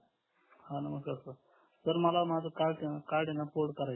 हा नमस्कार sir sir मला कार्ड ना पोर्ट करायच आहे